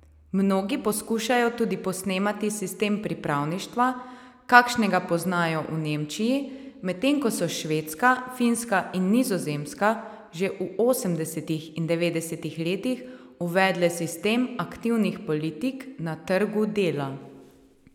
Mnogi poskušajo tudi posnemati sistem pripravništva, kakšnega poznajo v Nemčiji, medtem ko so Švedska, Finska in Nizozemska že v osemdesetih in devetdesetih letih uvedle sistem aktivnih politik na trgu dela.